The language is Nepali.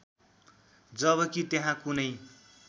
जबकी त्यहाँ कुनै